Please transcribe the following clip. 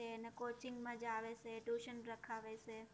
અને coaching માં જાવે સે, tuition રખાવે સે.